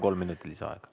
Kolm minutit lisaaega.